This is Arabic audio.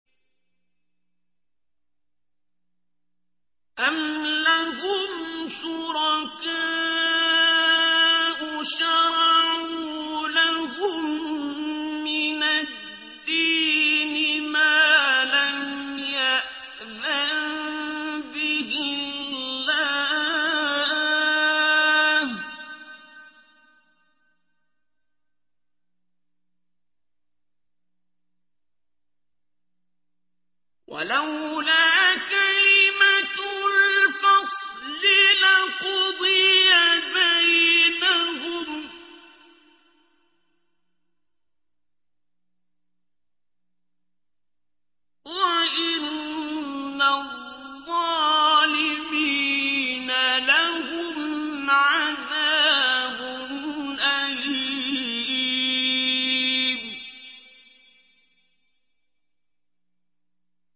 أَمْ لَهُمْ شُرَكَاءُ شَرَعُوا لَهُم مِّنَ الدِّينِ مَا لَمْ يَأْذَن بِهِ اللَّهُ ۚ وَلَوْلَا كَلِمَةُ الْفَصْلِ لَقُضِيَ بَيْنَهُمْ ۗ وَإِنَّ الظَّالِمِينَ لَهُمْ عَذَابٌ أَلِيمٌ